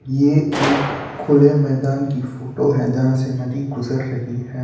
यह एक खुले मैदान की फोटो है। जहां से नदी गुजर रही है।